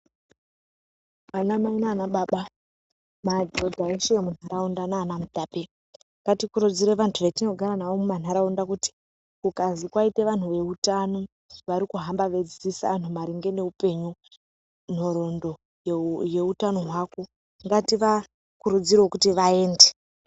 Ana Mai nana baba , madhodha eshe emuntaraunda nana Mutape ngatikurudzire vantu vatinogara navo mumantaraunda kuti kukazi kwaite vantu veutano varikuhamba veidzidzise vantu maringe neupenyu, nhoroondo yeutano hwako ngativakurudzirewo kuti vaende.